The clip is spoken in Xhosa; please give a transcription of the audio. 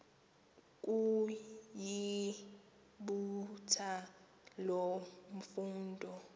ukuyibutha loo mfundo